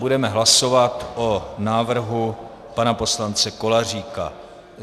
Budeme hlasovat o návrhu pana poslance Koláříka.